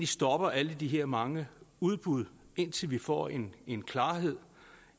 stopper alle de her mange udbud indtil vi får en en klarhed